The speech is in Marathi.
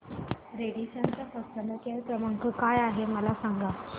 रॅडिसन चा कस्टमर केअर क्रमांक काय आहे मला सांगा